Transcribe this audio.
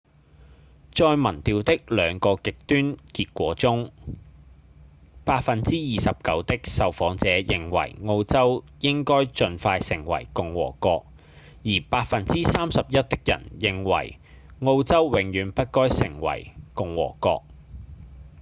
在民調的兩個極端結果中 29% 的受訪者認為澳洲應該盡快成為共和國而 31% 的人認為澳洲永遠不該成為共和國